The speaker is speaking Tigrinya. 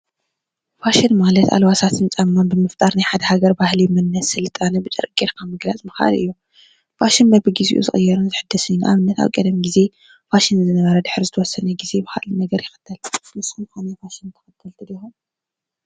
ፋሽን ማለት አልባሳትን ጫማን ብምፍጣር ናይ ሓደ ሃገር ባህሊ መንነት ስልጣነ ብጨርቂ ጌርካ ምግላፅ ምኽአል እዪ። ፋሽን በቢ ግዜኡ ዝቅየርን ዝሕደስን እዪ። ን ኣብነት ኣብ ቀደም ጊዜ ፋሽን ዝነበረ ድሕሪ ዝተወሰነ ግዜ ብካልእ ነገር ይክተል። ንስኩም ከ ናይ ንፋሽን ተከተልቲ ዲኹም?